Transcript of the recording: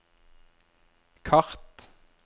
kart